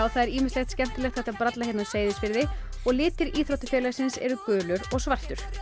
það er ýmislegt skemmtilegt hægt að bralla hérna á Seyðisfirði og litir íþróttafélagsins eru gulur og svartur